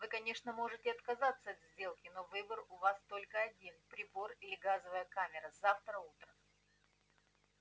вы конечно можете отказаться от сделки но выбор у вас только один прибор или газовая камера завтра утром